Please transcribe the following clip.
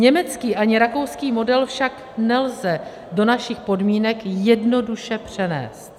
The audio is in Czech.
Německý ani rakouský model však nelze do našich podmínek jednoduše přenést.